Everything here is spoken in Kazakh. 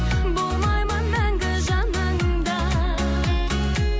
болмаймын мәңгі жаныңда